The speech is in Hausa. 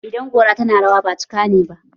Idan gora tana rawa, ba cika ne ba!